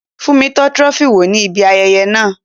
Fúnmi tọ́ Trophy wò ní ibi ayẹyẹ náà